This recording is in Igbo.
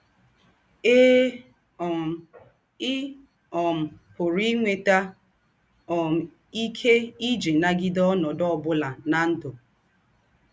Èe, um ì um pụ̀rù́ ínwètà um íké ìjì nagídè ònòdū̄ ọ̀bụ̀nà ná ndụ́.